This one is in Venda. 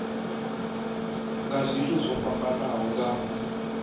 nga zwithu zwo fhambanaho nga